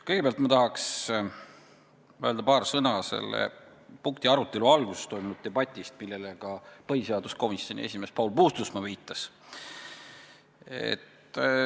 Kõigepealt tahaks öelda paar sõna selle punkti arutelu alguses toimunud debati kohta, millele ka põhiseaduskomisjoni esimees Paul Puustusmaa viitas.